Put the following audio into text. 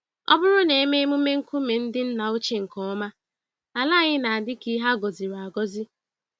Ọbụrụ na eme emume nkume ndị nna ochie nke ọma, ala anyị na-adị ka ihe agọziri-agọzi